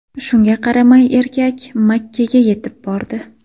Shunga qaramay, erkak Makkaga yetib bordi.